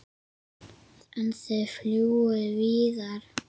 En þið fljúgið víðar?